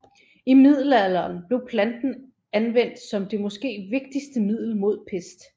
I middelalderen blev planten anvendt som det måske vigtigste middel mod pest